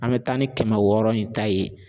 An bɛ taa ni kɛmɛ wɔɔrɔ in ta ye